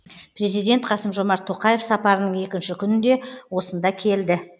президент қасым жомарт тоқаев сапарының екінші күнінде осында келді